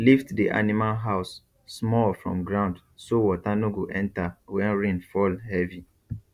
lift the animal house small from ground so water no go enter when rain fall heavy